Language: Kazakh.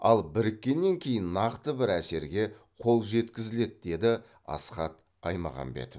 ал біріккеннен кейін нақты бір әсерге қол жеткізіледі деді асхат аймағамбетов